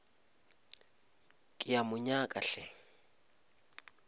ke a mo nyaka hle